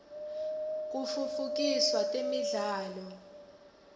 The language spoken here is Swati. kitfutfukisa temidlalo